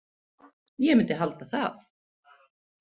Ég myndi halda það.